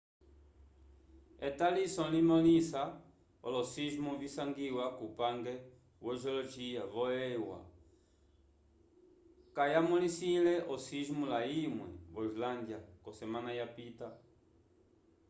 etaliso limõlisa olo-sismo visangiwa kupange wo-geologia vo-eua kayamõlisile osismo layimwe vo islândia k'osemana yapita